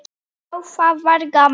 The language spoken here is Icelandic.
Já, það var gaman!